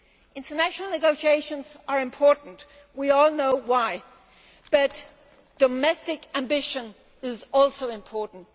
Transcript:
International negotiations are important we all know why but domestic ambition is also important.